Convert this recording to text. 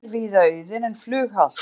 Vegir víða auðir en flughált